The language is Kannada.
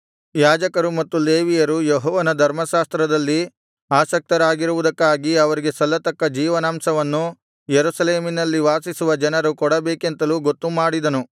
ಯಾಜಕರು ಮತ್ತು ಲೇವಿಯರು ಯೆಹೋವನ ಧರ್ಮಶಾಸ್ತ್ರದಲ್ಲಿ ಆಸಕ್ತರಾಗಿರುವುದಕ್ಕಾಗಿ ಅವರಿಗೆ ಸಲ್ಲತಕ್ಕ ಜೀವನಾಂಶವನ್ನು ಯೆರೂಸಲೇಮಿನಲ್ಲಿ ವಾಸಿಸುವ ಜನರು ಕೊಡಬೇಕೆಂತಲೂ ಗೊತ್ತುಮಾಡಿದನು